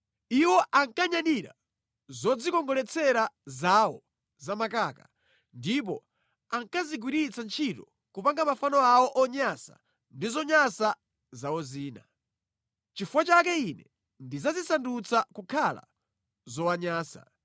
Iwo ankanyadira zodzikongoletsera zawo zamakaka ndipo ankazigwiritsa ntchito kupanga mafano awo onyansa ndi zonyansa zawo zina. Nʼchifukwa chake Ine ndidzazisandutsa kukhala zowanyansa.